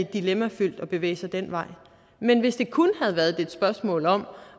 dilemmafyldt at bevæge sig den vej men hvis det kun havde været et spørgsmål om